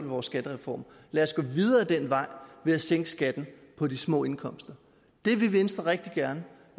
vores skattereform lad os gå videre ad den vej ved at sænke skatten på de små indkomster det vil venstre rigtig gerne